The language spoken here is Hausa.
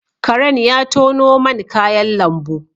Karen ya tono man kayan lambu